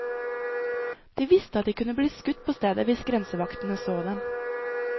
De visste at de kunne bli skutt på stedet hvis grensevaktene så dem.